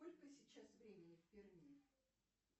сколько сейчас времени в перми